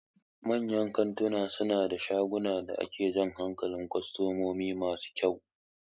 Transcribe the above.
Manyan kantuna suna da shagunan da ke jan hankalin kwastomomi masu kyau.